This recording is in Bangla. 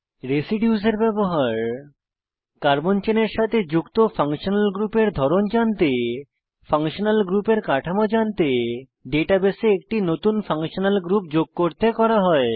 রেসিডিউস এর ব্যবহার কার্বন চেনের সাথে যুক্ত ফাংশনাল গ্রুপের ধরন জানতে ফাংশনাল গ্রুপের কাঠামো জানতে ডাটাবেসে একটি নতুন ফাংশনাল গ্রুপ যোগ করতে করা হয়